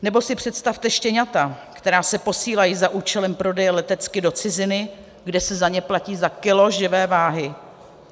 Nebo si představte štěňata, která se posílají za účelem prodeje letecky do ciziny, kde se za ně platí za kilo živé váhy.